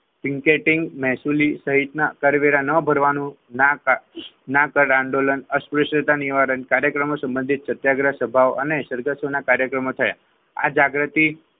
picketing મહેસુલી સહિતના કરવેરા ન ભરવાનું ના કર આંદોલન નિવારણ કાર્યક્રમમાં સંબંધી સત્યાગ્રહ સ્વભાવ અને સરગતોના કાર્યક્રમમાં થાય આ જાગૃતિ